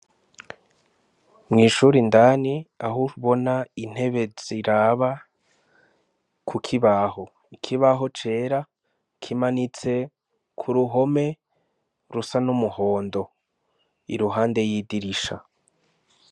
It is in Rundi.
Mwishure indani aho ubona intebe ziraba kukibaho ikibaho cera kimanitse kuruhome rusa n'umuhondo iruhande yidirisha